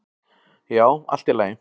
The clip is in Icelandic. """Já, allt í lagi."""